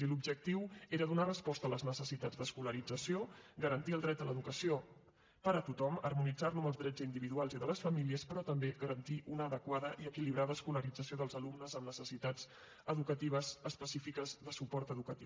i l’objectiu era donar resposta a les necessitats d’escolarització garantir el dret a l’educació per a tothom harmonitzar lo amb els drets individuals i de les famílies però també garantir una adequada i equilibrada escolarització dels alumnes amb necessitats específiques de suport educatiu